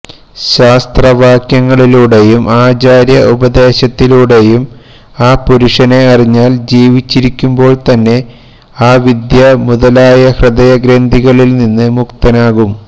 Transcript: ശാസ്ത്ര വാക്യങ്ങളിലൂടെയും ആചാര്യ ഉപദേശത്തിലൂടെയും ആ പുരുഷനെ അറിഞ്ഞാല് ജീവിച്ചിരിക്കുമ്പോള് തന്നെ അവിദ്യ മുതലായ ഹൃദയ ഗ്രന്ഥികളില് നിന്ന് മുക്തനാകും